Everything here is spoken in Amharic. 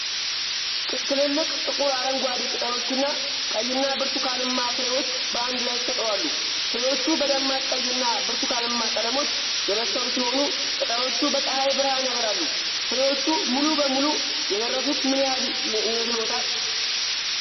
ትልልቅ፣ ጥቁር አረንጓዴ ቅጠሎችና ቀይና ብርቱካንማ ፍሬዎች በአንድ ላይ ተሰቅለው አሉ። ፍሬዎቹ በደማቅ ቀይና ብርቱካንማ ቀለሞች የበሰሉ ሲሆኑ፣ ቅጠሎቹ በፀሐይ ብርሃን ያበራሉ። ፍሬዎቹ ሙሉ በሙሉ የደረሱት ምን ያህል ይመስልዎታል?